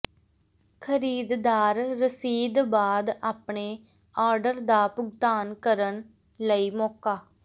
ਖਰੀਦਦਾਰ ਰਸੀਦ ਬਾਅਦ ਆਪਣੇ ਆਰਡਰ ਦਾ ਭੁਗਤਾਨ ਕਰਨ ਲਈ ਮੌਕਾ